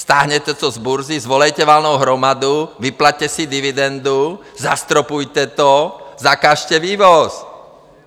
Stáhněte to z burzy, svolejte valnou hromadu, vyplaťte si dividendu, zastropujte to, zakažte vývoz!